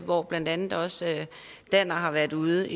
hvor blandt andet også danner har været ude